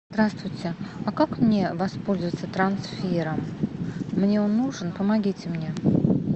здравствуйте а как мне воспользоваться трансфером мне он нужен помогите мне